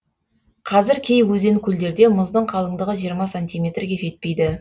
қазір кей өзен көлдерде мұздың қалыңдығы жиырма сантиметрге жетпейді